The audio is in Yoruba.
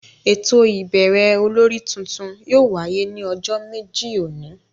Éto ibẹrẹ ólòri tuntun yóò wàye ni ọjọ meji oni.